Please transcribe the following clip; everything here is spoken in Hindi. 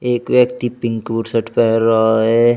एक व्यक्ति पिंक पहन रहा है।